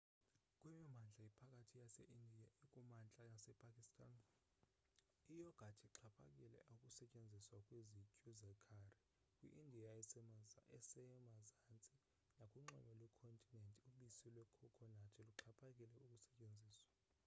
kwimimandla ephakhathi yase india ekumantla nase pakistan iyogathi ixhaphakile ukusetyenziswa kwizityu zekhari kwi india esemazantsi nakunxweme lwekhontinent ubisi lwekhokhonathi luxhaphakile ukusetyenziswa